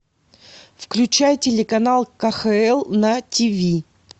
включай телеканал кхл на тв